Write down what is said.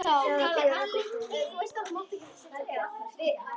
Sjá það bíða þarna eftir henni.